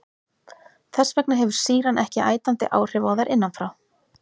Þess vegna hefur sýran ekki ætandi áhrif á þær innan frá.